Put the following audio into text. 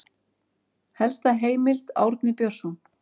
Helsta heimild Árni Björnsson.